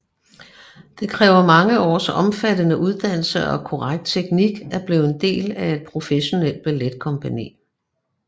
Det kræver mange års omfattende uddannelse og korrekt teknik at blive en del af et professionel balletkompagni